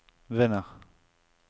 vinner